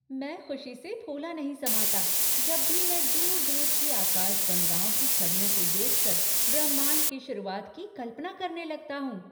मैं खुशी से फूला नहीं समाता जब भी मैं दूर दूर की आकाशगंगाओं की छवियों को देखकर ब्रह्मांड की शुरुआत की कल्पना करने लगता हूँ।